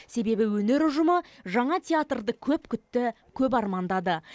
себебі өнер ұжымы жаңа театрды көп күтті